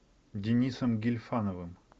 денисом гильфановым